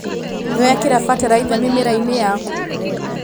Nĩwekĩra bataraitha mĩmerainĩ yaku.